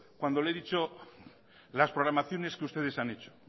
cuando le he dicho las programaciones que ustedes han hecho